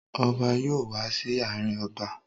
Ọba yóò wá sí ààrin abà.